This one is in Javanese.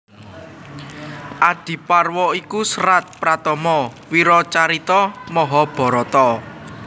Adiparwa iku serat pratama wiracarita Mahabharata